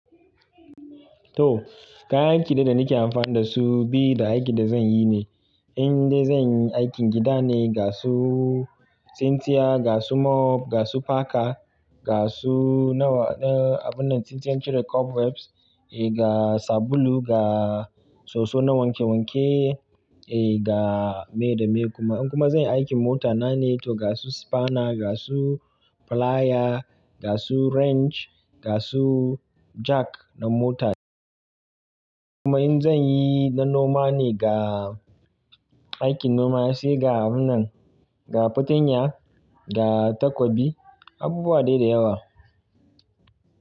To, kayan aikin da nake amfani da su bi da aikin da zan yi ne. In dai zan yi aikin gida ne, ga su cintiya, ga su mop, ga su paka, ga su nawa ɗin abun da cintiyan cire cobwebs, eh ga sabulu, ga soso na wanke wanke, eh ga me da me kuma. In kuma zan yi aikin mota na ne to ga su spana, ga su plyer, ga su wrench, ga su jack na mota. Kuma in zan yi na noma ne ga aikin noma sai ga wannan, ga fartanya, ga takobi, abubuwa dai da yawa.